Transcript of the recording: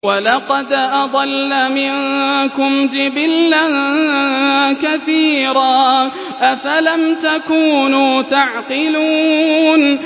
وَلَقَدْ أَضَلَّ مِنكُمْ جِبِلًّا كَثِيرًا ۖ أَفَلَمْ تَكُونُوا تَعْقِلُونَ